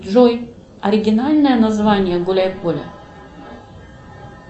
джой оригинальное название гуляй поле